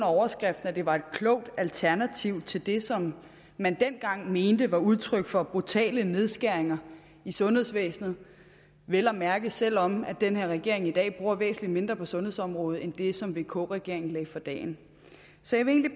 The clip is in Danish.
overskrift at det var et klogt alternativ til det som man dengang mente var udtryk for brutale nedskæringer i sundhedsvæsenet vel at mærke selv om den her regering i dag bruger væsentlig mindre på sundhedsområdet end det som vk regeringen lagde for dagen så jeg vil